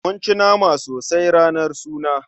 Mun ci nama sosai ranar suna.